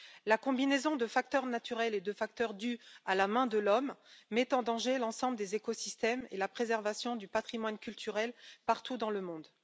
La combinaison de facteurs naturels et de facteurs dus à la main de l'homme met en danger l'ensemble des écosystèmes et la préservation du patrimoine culturel partout dans le monde.